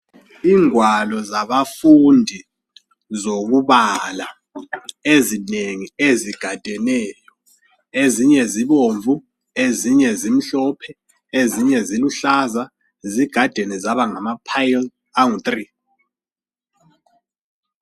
Ingwalo zabafundi zokubala ezinengie zigadeneyo ezinye zibomvu ezinye zimhlophe ezinye ziluhlaza zigadene zabangama phayili angu three.